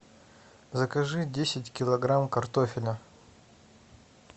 закажи десять килограмм картофеля